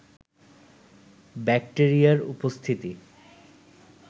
ব্যাক্টেরিয়ার উপস্থিতি